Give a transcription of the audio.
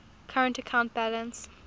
current account balance